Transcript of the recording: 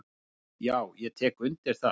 """Já, ég tek undir það."""